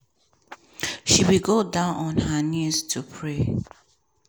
she bin go down on her knees to pray.